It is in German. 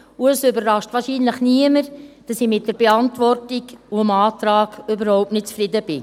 Es überrascht wohl niemanden, dass ich mit der Beantwortung und mit dem Antrag überhaupt nicht zufrieden bin.